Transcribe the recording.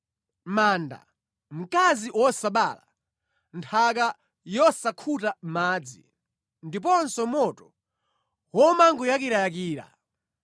Manda, mkazi wosabala, nthaka yosakhuta madzi ndiponso moto womangoyakirayakira!”